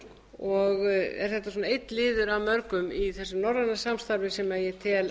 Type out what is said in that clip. og er þetta einn liður af mörgum í þessu norræna samstarf sem ég tel